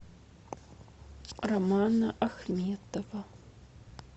романа ахметова